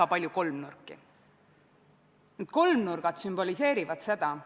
Ma osalesin selle komisjoni töös, kus küsitleti Oudekki Loonet, aga kahjuks pidin ma ära minema ja ei osalenud hääletamisel.